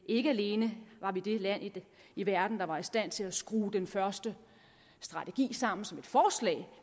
ikke alene var vi det land i verden der var i stand til at skrue den første strategi sammen som et forslag